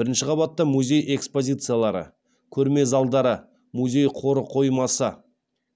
бірінші қабатта музей экспозициялары көрме залдары музей қоры қоймасы